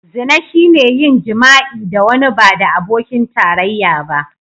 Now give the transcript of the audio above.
Zina shine yin jima'i da wani ba da abokin tarayya ba.